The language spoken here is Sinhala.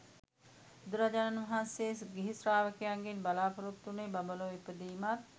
බුදුරජාණන් වහන්සේ ගිහි ශ්‍රාවකයන්ගෙන් බලාපොරොත්තු වුණේ බඹලොව ඉපදීමක්